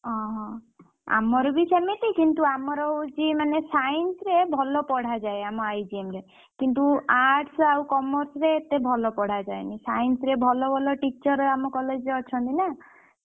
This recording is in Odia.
ଓହୋ ଆମର ବି ସେମିତି କିନ୍ତୁ ଆମର ହଉଛି ମାନେ Science ରେ ଭଲ ପଢା ଯାଏ ଆମ I G M ରେ କିନ୍ତୁ Arts ଆଉ commerce ରେ ଏତେ ଭଲ ପଢା ଯାଏନି Science ରେ ଭଲ ଭଲ teacher ଆମ college ରେ ଅଛନ୍ତି ନା।